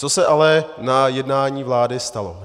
Co se ale na jednání vlády stalo?